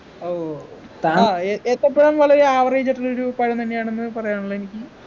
ഓ ആഹ് ഏത്തപ്പഴം വളരെ average ആയിട്ടുള്ളൊരു പഴം തന്നെയാണെന്ന് പറയാനായുള്ള എനിക്ക്